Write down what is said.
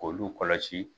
K'olu kɔlɔsi